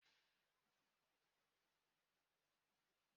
Imi ka e ji eme ume.